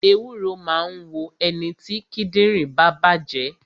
Ewúro máa ń wo ẹniti kíndìnrín bá bàjé